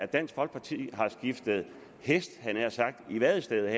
dansk folkeparti har skiftet hest i vadestedet